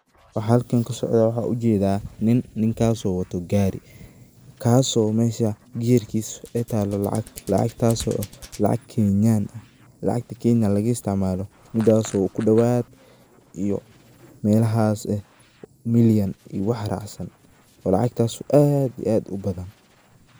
Waxaa halkan kasocdoh waxa u jeedah, nin ninkaso watoh kaari, kasoo mesha geerkasa aa taloh lacag, lacagtaso ah lacag Kenyan lacagta Kenya laga isticmaloh midaso oo kudawat iyo meelahays million iyo wax racsan, lacagtaas oo aad iyo aad u bathan.